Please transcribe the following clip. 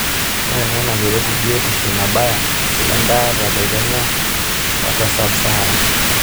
Ore ena nakeretu biotisho nabaya endaata tekenya ote sub-sahara